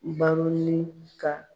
Baroni ka